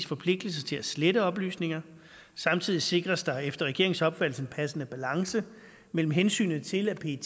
forpligtelse til at slette oplysninger samtidig sikres der efter regeringens opfattelse en passende balance mellem hensynet til at pet